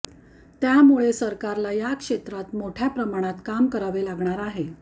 त्यामुळे सरकारला या क्षेत्रात मोठ्या प्रमाणात काम करावे लागणार आहे